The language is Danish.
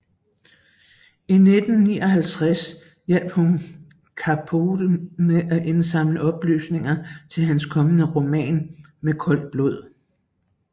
I 1959 hjalp hun Capote med at indsamle oplysninger til hans kommende roman Med koldt blod